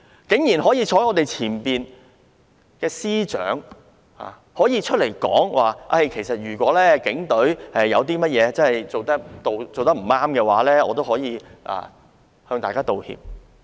身處我們前方的司長早前公開說道，如果警隊的處理有任何未如理想之處，他可以代為道歉。